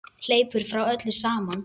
Hleypur frá öllu saman.